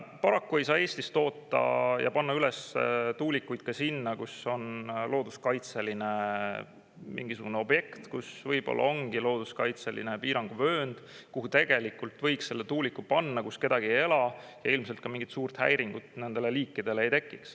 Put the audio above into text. Paraku ei saa Eestis toota ja panna üles tuulikuid ka sinna, kus on looduskaitseline mingisugune objekt, kus võib-olla ongi looduskaitseline piiranguvöönd, kuhu tegelikult võiks selle tuuliku panna, kus kedagi ei ela ja ilmselt ka mingit suurt häiringut nendele liikidele ei tekiks.